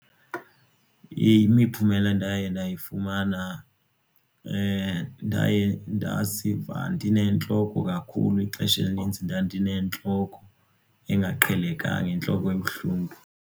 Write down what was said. Imiphumela endaye ndayifumana ndaye ndaziva ndinentloko kakhulu ixesha elininzi ndandinentloko engaqhelekanga intloko ebuhlungu.